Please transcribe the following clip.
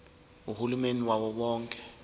uhulumeni wawo wonke